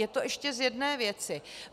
Je to ještě z jedné věci.